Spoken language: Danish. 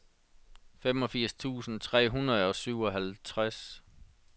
femogfirs tusind tre hundrede og syvoghalvtreds